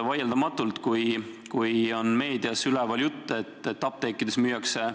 Vaieldamatult, kui meedias oli üleval jutt, et apteekides müüakse